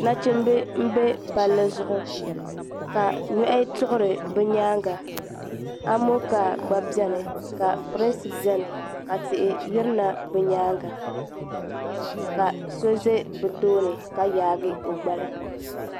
nachimba m-be palli zuɣu ka nyɔhi tuɣiri bɛ nyaaga Amonkaa gba beni ka pirinsi beni ka tihi yirina bɛ nyaaga ka so ʒe bɛ tooni ka yaagi o gbali.